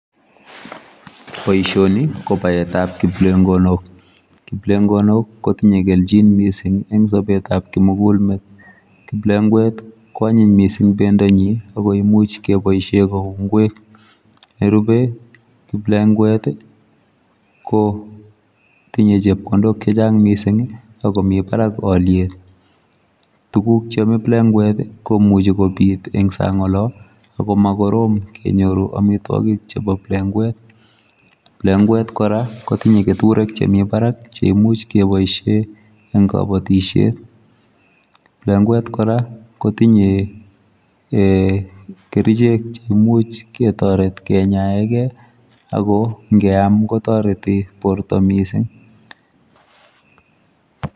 Boishoni ko paetap kiplengonok. Kiplengonok kotinye kelchin mising eng sopetap kimugulmet. Kiplengwet ko anyiny mising pendonyi ako imuch kepoishe kou ng'wek. Nerupe, kiplengwet kotinye chepkondok chechang mising akomi barak olyet. Tuguk cheome kiplengwet komuchi kenyor eng sang olo ako makorom kenyor amitwokik chepo plengwet. Plengwet kora kotinye keturek chemi barak cheimuch keboishe eng kabatishet. Plengwet kora kotinye um kerichek cheimuch ketoret kenyaeke ako nkeam kotoreti porto mising.